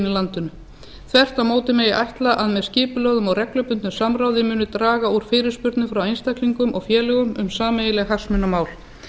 landinu þvert á móti megi ætla að með skipulögðu og reglubundnu samráði muni draga úr fyrirspurnum frá einstaklingum og félögum um sameiginleg hagsmunamál